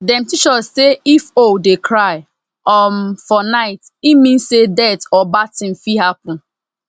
dem teach us say if owl dey cry um for night e mean say death or bad thing fit happen